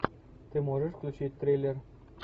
ты можешь включить триллер